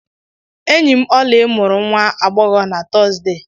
Enyi m Oly mụrụ nwa agbọghọ na Tọzdee